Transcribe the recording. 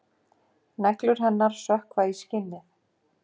Neglur hennar sökkva í skinnið.